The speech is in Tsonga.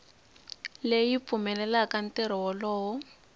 leyi yi pfumelelaka ntirho wolowo